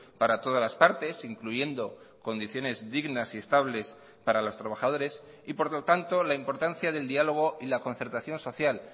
para todas las partes incluyendo condiciones dignas y estables para los trabajadores y por lo tanto la importancia del diálogo y la concertación social